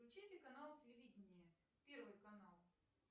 включите канал телевидения первый канал